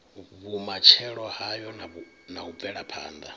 vhumatshelo hayo na u bvelaphanda